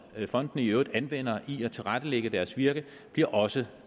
fondene i øvrigt anvender i at tilrettelægge deres virke bliver også